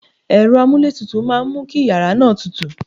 Ẹ̀rọ amúlé tutù máa mú kí yàrá náà tútù.